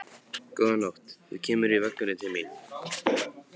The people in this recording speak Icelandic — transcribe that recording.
Góða nótt, þú kemur í vökunni til mín.